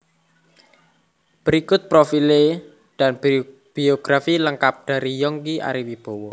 Berikut Profile dan Biografi lengkap dari Yongki Ariwibowo